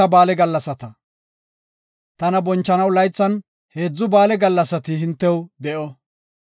“Tana bonchanaw laythan heedzu ba7aale gallasati hintew de7o.